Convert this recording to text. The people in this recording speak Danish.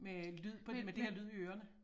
Med lyd med det her lyd i ørerne